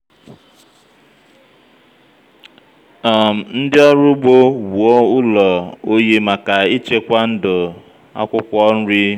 um ndị́ ọ́rụ́ ugbo wùò ụ́lọ̀ óyí màkà íchékwá ndú ákwụ́kwọ́ nrí.